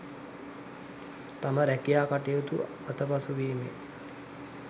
තම රැකියා කටයුතු අතපසුවීමේ